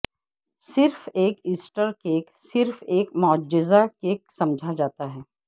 صرف ایک Easter cake صرف ایک معجزہ کیک سمجھا جاتا ہے